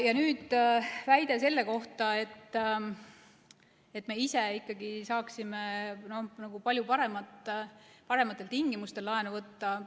Ja nüüd väide selle kohta, et me ise saaksime ikkagi palju parematel tingimustel laenu võtta.